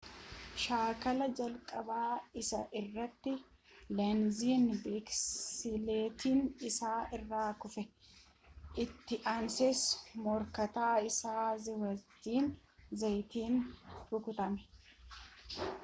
shaakala jalqabaa isaa irratti leenziin biskileettii isaa irraa kufe itti ansees morkataa isaa zhaaviyeer zaayaatiin rukutame